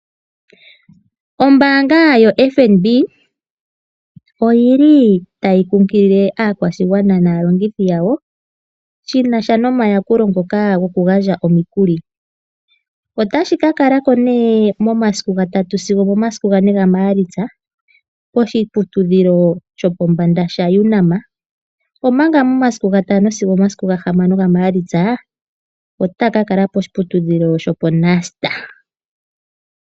Ombaanga yoFNB ,oyili tayi nkunkilile aakwashigwana naalongithi yawo shinasha nomayakulo ngono gokugandja omikuli . Otashi ka kala ko nee momasiku 3 sigo omomasiku ga 4 gaMaalitsa poshiputudhilo shopombanda shaUNAM , omanga momasiku ga 5 sigo omasiku ga 6 gaMaalitsa , otaya ka kala poshiputudhilo sho poNUST .